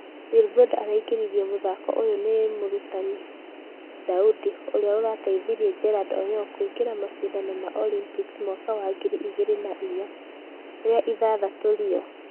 Wilbroda araingĩririo mũthako ũyo nĩ mũrutani Daudi ũria ũrateithirie jared oyoo akĩingĩra mashidano ma Olympics mwaka wa ngĩri igĩri na igana rĩa ithathatũ Rio